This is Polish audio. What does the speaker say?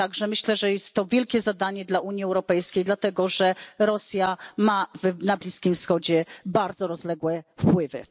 Myślę także, że jest to wielkie zadanie dla Unii Europejskiej, dlatego że Rosja ma na Bliskim Wschodzie bardzo rozległe wpływy.